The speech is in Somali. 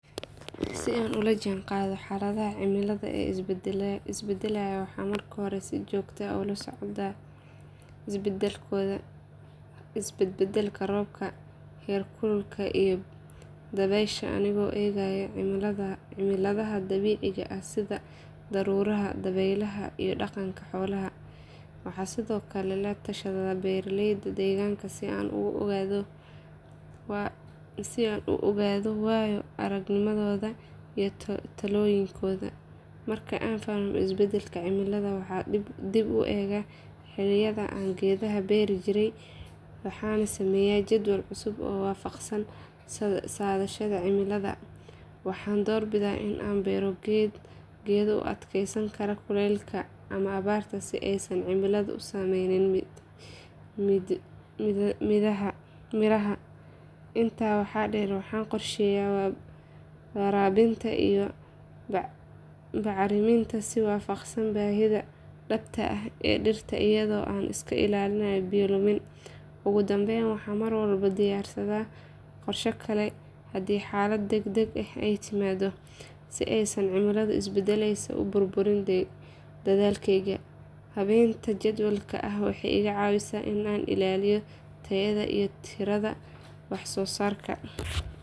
Si aan ula jaanqaado xaaladaha cimilada ee isbeddelaya waxaan marka hore si joogto ah ula socdaa isbedbedelka roobka, heerkulka iyo dabaysha anigoo eegaya calaamadaha dabiiciga ah sida daruuraha, dabaylaha iyo dhaqanka xoolaha. Waxaan sidoo kale la tashadaa beeraleyda deegaanka si aan u ogaado waayo aragnimadooda iyo talooyinkooda. Marka aan fahmo isbeddelka cimilada waxaan dib u eegaa xilliyada aan geedaha beeri jiray waxaana sameeyaa jadwal cusub oo waafaqsan saadaasha cimilada. Waxaan door bidaa inaan beero geedo u adkaysan kara kuleylka ama abaarta si aysan cimiladu u saameynin midhaha. Intaa waxaa dheer waxaan qorsheeyaa waraabinta iyo bacriminta si waafaqsan baahida dhabta ah ee dhirta iyadoo aan iska ilaaliyo biyo lumin. Ugu dambayn waxaan mar walba diyaarsadaa qorshe kale haddii xaalad degdeg ah ay timaado si aysan cimilada isbeddelaysa u burburin dadaalkayga. Habayntan jadwalka ah waxay iga caawisaa in aan ilaaliyo tayada iyo tirada waxsoosaarka.